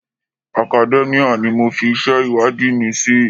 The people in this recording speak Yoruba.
Academia ni mo fi iṣẹ́ ìwádìí mi sí.